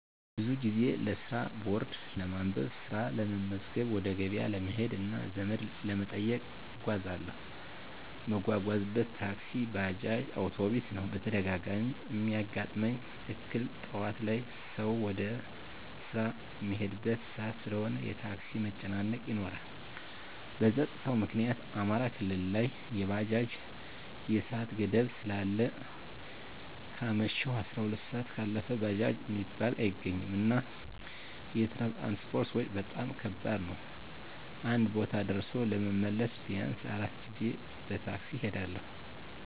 ብዙ ጊዜ ለስራ ቦርድ ለማንበብ፣ ስራ ለመመዝገብ፣ ወደ ገበያ ለመሄድ እና ዘመድ ለመጠየቅ እጓዛለሁ። እምጓጓዝበት ታክሲ፣ ባጃጅ፣ አዉቶቢስ ነዉ። በተደጋጋሚ እሚያጋጥመኝ እክል ጠዋት ላይ ሰዉ ወደ ስራ እሚሄድበት ሰአት ስለሆነ የታክሲ መጨናነቅ ይኖራል። በፀጥታዉ ምክኒያት አማራ ክልል ላይ የባጃጅ የሰአት ገደብ ስላለ ከአመሸሁ 12 ሰአት ካለፈ ባጃጅ እሚባል አይገኝም። እና የትራንስፖርት ወጭ በጣም ከባድ ነዉ አንድ ቦታ ደርሶ ለመመለስ ቢያንስ 4 ጊዜ በታክሲ እሄዳለሁ።